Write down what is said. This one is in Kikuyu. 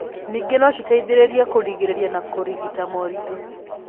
Ningĩ no citeithĩrĩrie kũrigĩrĩria na kũrigita moritũ.